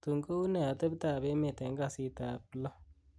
tun kounet atebtab emet en kasitab lo